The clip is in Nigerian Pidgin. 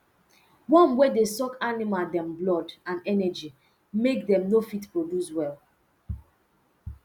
worm wer dey suck animal um blood and energy make dem no fit produce well